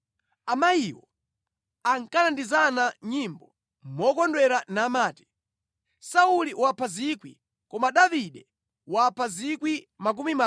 Amayiwo ankalandizana nyimbo mokondwera namati: “Sauli wapha 1,000, Koma Davide wapha miyandamiyanda.”